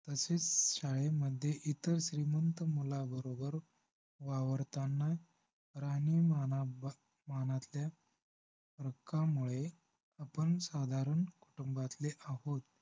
तसेच शाळेमध्ये इतर श्रीमंत मुलांबरोबर वावरताना राहणीमानाबाब राहणीमानातल्या फरकामुळे आपण साधारण कुटुंबातले आहोत